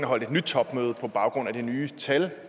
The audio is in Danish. holdt et nyt topmøde på baggrund af de nye tal